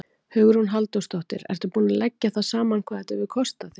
Hugrún Halldórsdóttir: Ertu búinn að leggja það saman hvað þetta hefur kostað þig?